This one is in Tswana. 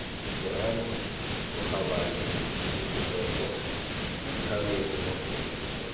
terama bokgabane matsetseleko boitlhamedi mafoko